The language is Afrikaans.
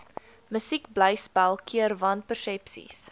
musiekblyspel keer wanpersepsies